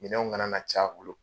Minɛnw ŋana na c'a bolo.